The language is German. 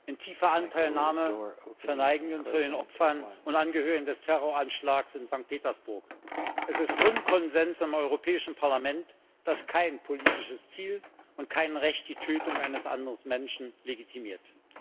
In tiefer Anteilnahme verneigen wir uns vor den Opfern und Angehörigen des Terroranschlags von Sankt Petersburg. Es ist Grundkonsens im Europäischen Parlament, dass kein politisches Ziel und kein Recht die Tötung eines anderen Menschen legitimiert.